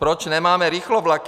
Proč nemáme rychlovlaky?